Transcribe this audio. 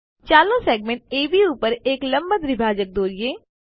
ચાલો segment AB પર એક લંબ દ્વિભાજક દોરીએ